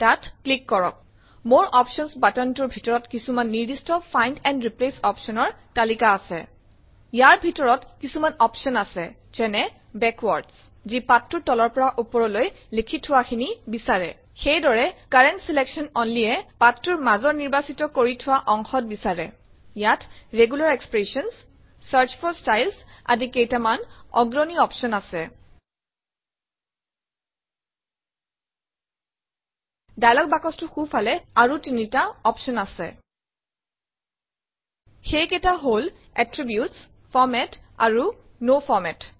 তাত ক্লিক কৰক more options button টোৰ ভিতৰত কিচুমান নিৰ্দিস্ত ফাইণ্ড এণ্ড ৰিপ্লেচ অপচনৰ তালিকা আচে ইয়াৰ ভিতৰত কিছুমান অপশ্যন আছে যেনে - বেকৱাৰ্ডছ যি পাঠটোৰ তলৰ পৰা ওপৰলৈ লিখি থোৱাখিনি বিচাৰে সেইদৰে কাৰেণ্ট ছিলেকশ্যন only এ পাঠটোৰ মাজৰ নিৰ্বাচিত কৰি থোৱা অংশত বিচাৰে ইয়াত regular expressions search for styles আদি কেইটামান অগ্ৰণী এডভাঞ্চড অপশ্যন আছে ডায়লগ বাকচটোৰ সোঁফালে আৰু তিনিটা অপশ্যন আছে সেইকেইটা হল - এট্ৰিবিউটছ ফৰমাত আৰু ন ফৰমাত